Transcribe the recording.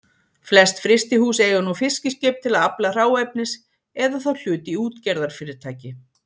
Flest frystihús eiga nú fiskiskip til að afla hráefnis eða þá hlut í útgerðarfyrirtæki.